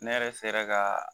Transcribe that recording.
Ne yɛrɛ sera ka